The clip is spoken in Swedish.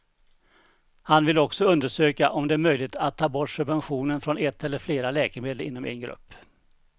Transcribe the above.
Han vill också undersöka om det är möjligt att ta bort subventionen från ett eller flera läkemedel inom en grupp.